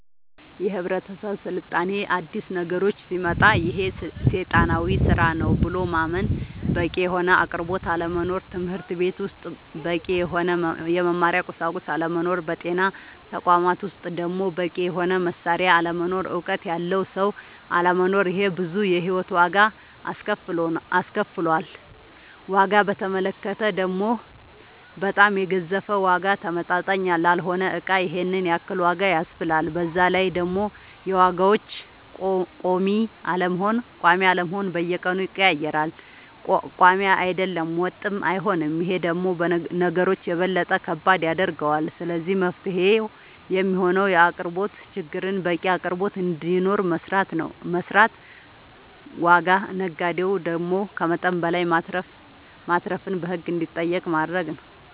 የህብረተሰብ ስልጣኔ አዲስ ነገሮች ሲመጣ ይሄ ሴጣናዊ ስራ ነው ብሎ ማመን በቂ የሆነ አቅርቦት አለመኖር ትምህርትቤት ውስጥ በቂ የሆነ የመማሪያ ቁሳቁስ አለመኖር በጤና ተቋማት ውስጥ ደሞ በቂ የሆነ መሳሪያ አለመኖር እውቀት ያለው ሰው አለመኖር ይሄ ብዙ የሂወት ዋጋ አስከፍሎል ዋጋ በተመለከተ ደሞ በጣም የገዘፈ ዋጋ ተመጣጣኝ ላልሆነ እቃ ይሄንን ያክል ዋጋ ያስብላል በዛላይ ደሞ የዋጋዎች ቆሚ አለመሆን በየቀኑ ይቀያየራል ቆሚ አይደለም ወጥም አይሆንም ይሄ ደሞ ነገሮች የበለጠ ከባድ ያደርገዋል ስለዚህ መፍትሄው የሚሆነው የአቅርቦት ችግርን በቂ አቅርቦት እንዲኖር መስራት ዋጋ ነጋዴው ደሞ ከመጠን በላይ ማትረፍን በህግ እንዲጠየቅ ማረግ